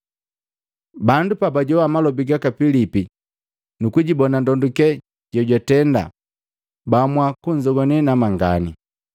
Bandu pabajowa malobi gaka Pilipi nukujibona ndonduke je jwatenda, baamua kunzogwane namangani.